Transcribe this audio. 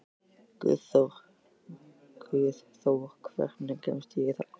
Guðþór, hvernig kemst ég þangað?